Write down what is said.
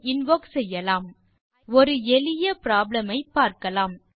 command prompt இல் type செய்க ஐபிதான் ஒரு எளிய ப்ராப்ளம் ஐ பார்க்கலாம்